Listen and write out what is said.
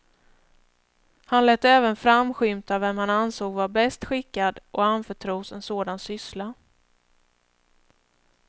Han lät även framskymta vem han ansåg vara bäst skickad att anförtros en sådan syssla.